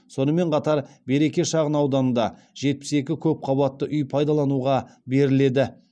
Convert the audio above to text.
сонымен қатар береке шағын ауданында жетпіс екі көп қабатты үй пайдалануға беріледі